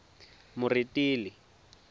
moretele